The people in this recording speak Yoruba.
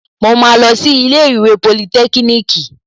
Mo máa lọ sí ilé ìwé politẹ́kíníìkì